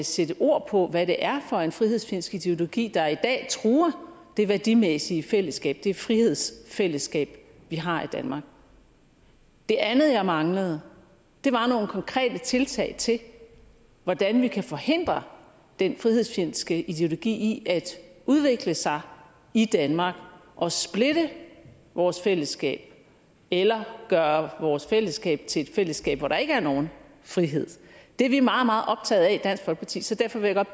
sætte ord på hvad det er for en frihedsfjendsk ideologi der i dag truer det værdimæssige fællesskab det frihedsfællesskab vi har i danmark det andet jeg manglede var nogle konkrete tiltag til hvordan vi kan forhindre den frihedsfjendske ideologi i at udvikle sig i danmark og splitte vores fællesskab eller gøre vores fællesskab til et fællesskab hvor der ikke er nogen frihed det er vi meget meget optaget af i dansk folkeparti så derfor vil jeg